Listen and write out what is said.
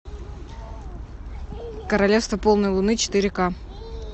королевство полной луны четыре ка